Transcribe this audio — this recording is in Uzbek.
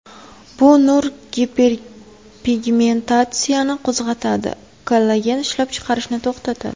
Bu nur giperpigmentatsiyani qo‘zg‘atadi, kollagen ishlab chiqarishni to‘xtatadi.